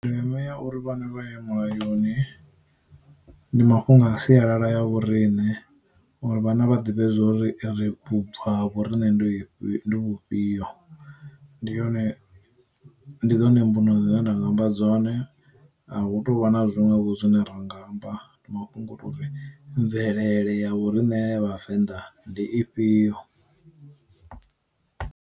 Ndeme ya uri vhana vhaye mulayoni, ndi mafhungo a sialala ya vhorine uri vhana vha ḓivhe uri ri vhubvo ha vhorine ndi vhufhio, ndi yone, ndi dzone mbuno zwine nda nga amba dzone a hu tovha na zwiṅwevho zwine ra nga amba ndi mafhungo a to uri mvelele ya u rine vhavenḓa ndi ifhio.